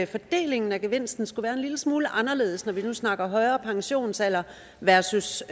fordelingen af gevinsten skulle være en lille smule anderledes når vi nu snakker højere pensionsalder versus